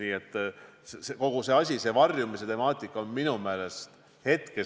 Nii et kogu see asi, see varjumise temaatika on minu meelest tähtis.